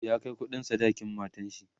ya Kai kuɗin sadakin matanshi